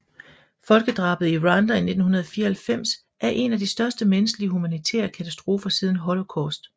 Folkedrabet i Rwanda i 1994 er en af de største menneskelige humanitære katastrofer siden Holocaust